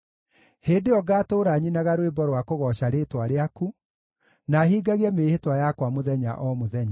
Hĩndĩ ĩyo ngatũũra nyinaga rwĩmbo rwa kũgooca rĩĩtwa rĩaku, na hingagie mĩĩhĩtwa yakwa mũthenya o mũthenya.